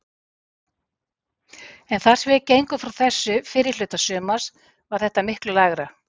En þar sem við gengum frá þessu fyrri hluta sumars var þetta miklu lægra.